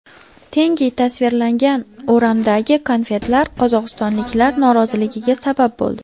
Tenge tasvirlangan o‘ramdagi konfetlar qozog‘istonliklar noroziligiga sabab bo‘ldi.